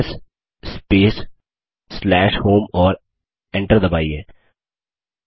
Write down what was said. LS space home और Enter दबाइए